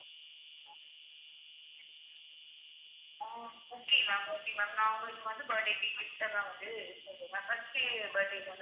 அஹ் okay ma'am okay ma'am நான் உங்களுக்கு வந்து birthday க்கு gift எல்லாம் வந்து இது பண்ணறேன் ma'am first உ birthday தான